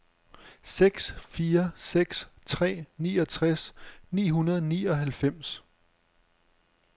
seks fire seks tre niogtres ni hundrede og nioghalvfems